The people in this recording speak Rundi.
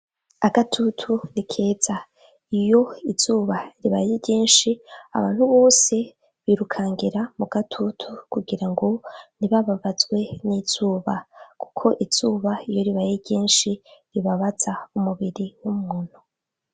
Agatutu ni keza. Iyo izuba ribaye ryinshi, abantu bose birukangira mu gatutu kugira ngo ntibababazwe n'izuba kuko izuba iyo ribaye ryinshi ribabaza umubiri w'umuntu.